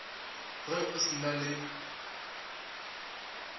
ge o se na le